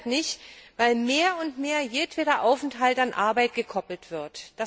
Auch deshalb nicht, weil mehr und mehr jedweder Aufenthalt an Arbeit gekoppelt wird.